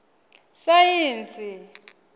saintsi